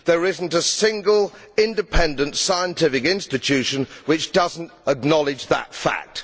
There is not a single independent scientific institution which does not acknowledge that fact.